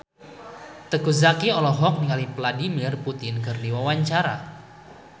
Teuku Zacky olohok ningali Vladimir Putin keur diwawancara